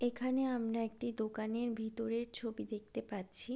এখানে আমরা একটি দোকানের ভিতরের ছবি দেখতে পাচ্ছি--